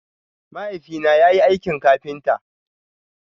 Mahaifi na yayi aikin kafinta.